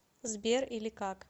сбер или как